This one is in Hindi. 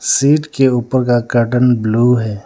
सीट के ऊपर का कर्टन ब्लू है।